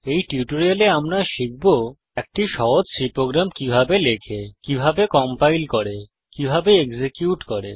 এই টিউটোরিয়ালে আমরা শিখব একটি সহজ C প্রোগ্রাম কিভাবে লেখে কিভাবে কম্পাইল করে কিভাবে এক্সিকিউট করে